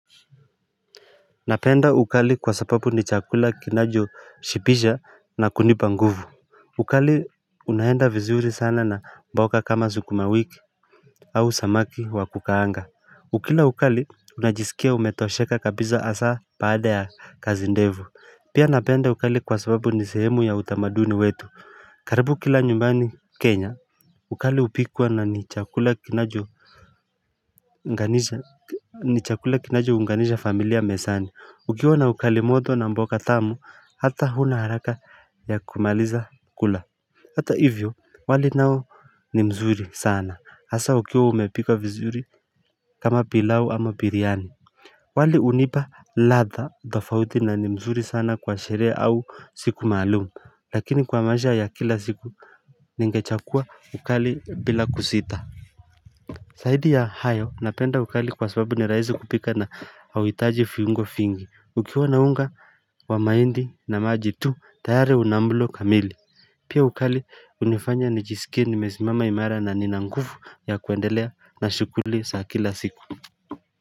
Napenda ukali kwa sababu ni chakula kinajoshipisha na kunipa nguvu ukali unaenda vizuri sana na mboga kama sukumawiki au samaki wa kukaanga ukila ukali unajisikia umetosheka kabiza hasaa baada ya kazi ndevu Pia napenda ukali kwa sababu ni sehemu ya utamaduni wetu karibu kila nyumbani Kenya ukali upikwa na ni chakula kinacho ni chakula kinachounganisha familia mesani Ukiwa na ukali moto na mboka tamu hata huna haraka ya kumaliza kula Hata hivyo wali nao ni mzuri sana hasa ukiwa umepika vizuri kama pilau ama biryani wali unipa ladha tofauti na ni mzuri sana kwa sherehe au siku maalum lakini kwa maisha ya kila siku ningechakua ukali bila kusita saidi ya hayo napenda ukali kwa sababu ni raisi kupika na hauhitaji fiungo fingi ukiwa na unga wa mahindi na maji tu tayare una mulo kamili Pia ukali hunifanya nijisikie nimesimama imara na nina ngufu ya kuendelea na shughuli za kila siku.